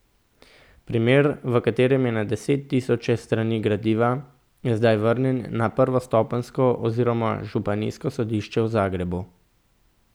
Primer, v katerem je na desettisoče strani gradiva, je zdaj vrnjen na prvostopenjsko oziroma županijsko sodišče v Zagrebu.